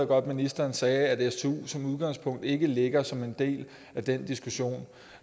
godt at ministeren sagde at stu som udgangspunkt ikke ligger som en del af den diskussion